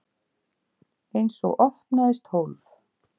Einsog opnaðist hólf.